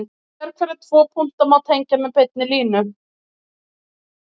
Sérhverja tvo punkta má tengja með beinni línu.